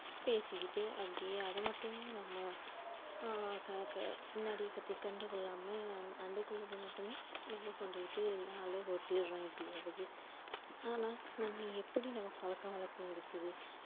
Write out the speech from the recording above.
பேசிக்கிட்டு அப்டியே அத மட்டுமே நம்ம ஆஹ் பின்னாடி பத்தி கண்டுகொள்ளாம அன்னைக்குள்ளது மட்டுமே நம்ம கொண்டுகிட்டு நாள ஓடிறோம் எப்டியாவது ஆனா நம்ம எப்படி நம்ம பழக்கவழக்கம் இருக்குது